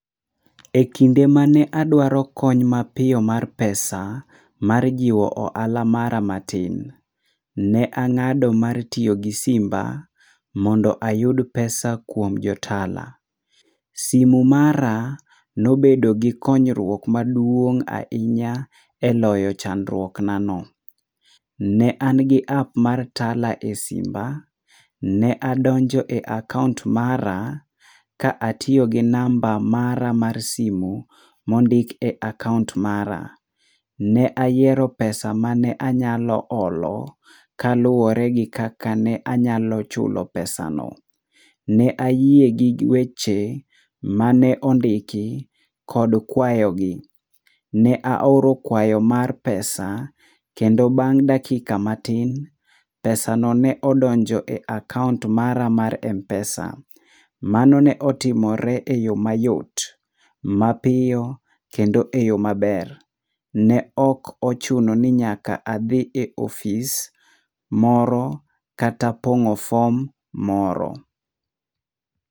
Ekinde mane adwaro kony mapiyo mar pesa, mar jiwo ohala mara matin, ne ang'ado mar tiyo gi simba mondo ayud pesa kuom jo tala, simo maraa ne obedo gi konyruok maduong' ahinya e loyo chandruok na no.Ne an gi app[cs[ mar tala e simba ne adonjo e akaunt mara ka atiyo gi namba mara mar simo ma ondik e akaunt mara .Ne ayiero pesa mane anyalo olo ka luore gi kaka ne anyalo chulo pesa no.Ne ayie gi weche ma ne ondiki kod kuayo gi, ne aoro kuayo mar pesa kendo bang' dakika matin pesa no ne odonjo e akaunt mara mar mpesa mano ne otimore e yo mayot mapiyo kendo e yo ma ber. Ne ok ochuno ni nyaka adhi e office moro kata pongo form moro.